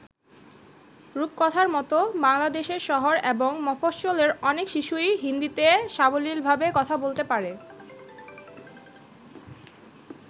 রূপকথার মতো বাংলাদেশের শহর এবং মফস্বলের অনেক শিশুই হিন্দীতে সাবলীলভাবে কথা বলতে পারে।